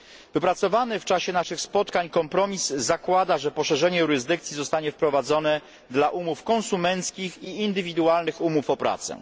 I. Wypracowany w czasie naszych spotkań kompromis zakłada, że poszerzenie jurysdykcji zostanie wprowadzone dla umów konsumenckich i indywidualnych umów o